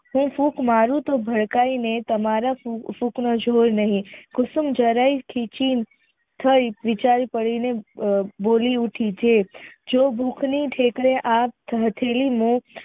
જો ફૂંક મારુ તો ભડકાઇને તમારા ફૂંક નો જોર નહિ કુસુમ જરાય બોલી ઊથી જે